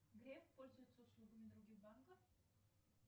греф пользуется услугами других банков